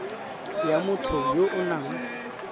ya motho yo o nang